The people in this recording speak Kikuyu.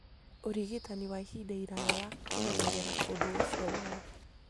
ũrigitani wa ihinda iraya wa kũmenyerera ũndũ ũcio wao.